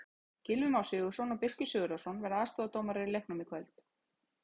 Gylfi Már Sigurðsson og Birkir Sigurðarson verða aðstoðardómarar í leiknum í kvöld.